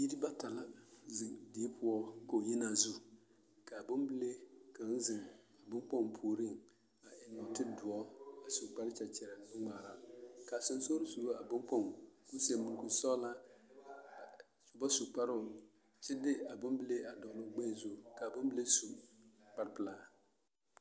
Biiri bata la zeŋ die poɔ kogi-yenaa zu k'a bombile kaŋ zeŋ a boŋkpoŋ puoriŋ a eŋ nɔɔte doɔ a su kpare kyɛkyɛrɛɛ nu-ŋmaara, k'a sonsogere soba a boŋkpoŋ k'o seɛ mɔŋkuri sɔgelaa a ba su kparoŋ kyɛ de a bombile a dɔgele o gbɛɛ zu k'a bombile su kpare pelaa.